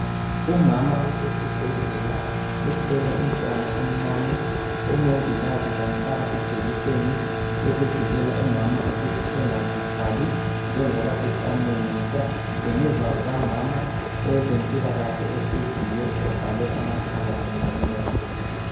Umama usesibhedlela uthwele umntwana omncane omongikazi bamhlaba ijekiseni yokuvikela umama ukuthi engazithwali njengoba esamunyisa. Ngemuva kukamama owezempilakahle ohleziyo ovale amakhala kanye lomlomo.